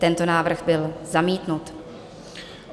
Tento návrh byl zamítnut.